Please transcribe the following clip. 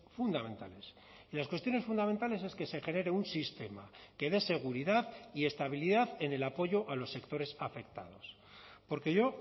fundamentales y las cuestiones fundamentales es que se genere un sistema que dé seguridad y estabilidad en el apoyo a los sectores afectados porque yo